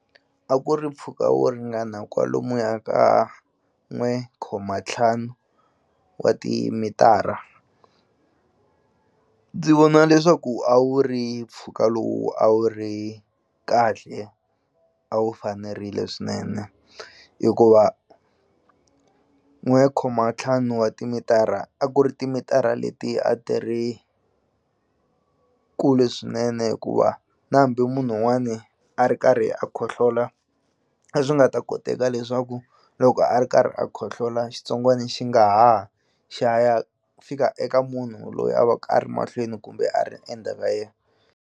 A ku ri mpfhuka wo ringana kwalomuya ka n'we khoma ntlhanu wa timitara ndzi vona leswaku a wu ri mpfhuka lowu a wu ri kahle a wu fanerile swinene hikuva n'we khoma ntlhanu wa timitara a ku ri timitara leti a ti ri kule swinene hikuva na hambi munhu wun'wani a ri karhi a khohlola a nga ta koteka leswaku loko a ri karhi a khohlola xitsongwani xi nga ha ha xi ya ya fika eka munhu loyi a va ku a ri mahlweni kumbe a ri endzhaka yena.